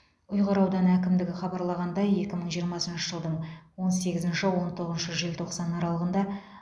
ұйғыр ауданы әкімдігі хабарлағандай екі мың жиырмасыншы жылдың он сегізінші он тоғызыншы желтоқсан аралығында